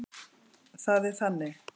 Það er þannig.